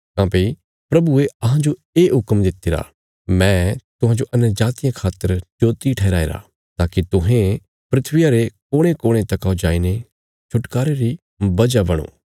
काँह्भई प्रभुये अहां जो ये हुक्म दितिरा मैं तुहांजो अन्यजातियां खातर ज्योति ठहराईरा ताकि तुहें धरतिया रे कोणेकोणे तका जाईने छुटकारे री वजह बणो